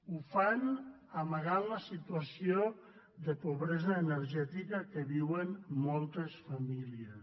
ho fan amagant la situació de pobresa energètica que viuen moltes famí lies